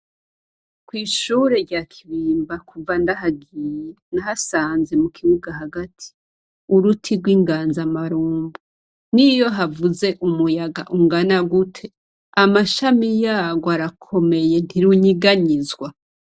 Kwishure rya Kibimba kuva ndahagiye nahasanze mukibuga hagati uruti gw' ingazamarunku niyo havuze umuyaga ungana gute amashami yagwo arakomeye ntirunyiganizwa.